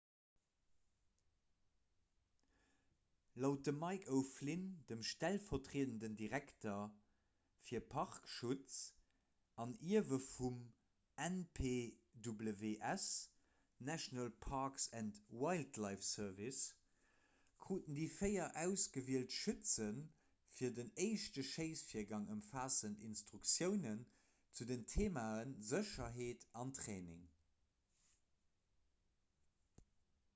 laut dem mick o'flynn dem stellvertriedenden direkter fir parkschutz an ierwe vum npws national parks and wildlife service kruten déi véier ausgewielt schütze fir den éischte schéissvirgang ëmfaassend instruktiounen zu den theemae sécherheet an training